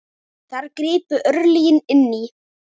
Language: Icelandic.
Þar gripu örlögin inn í.